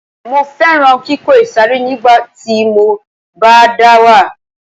Mo fẹ́ràn kíkọ ìsàré nígbà tí mo bá dá wà